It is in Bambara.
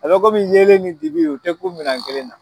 A be komin yelen ni dibi o te ku minɛn kelen na